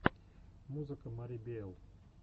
музыка мари биэл